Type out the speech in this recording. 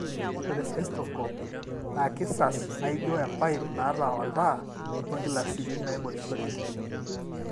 ore cystoscope na kisas, naijio enpipe naata oltaa ongilasini naingorishoreki.